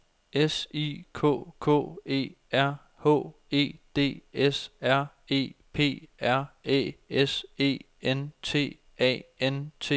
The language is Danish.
S I K K E R H E D S R E P R Æ S E N T A N T E R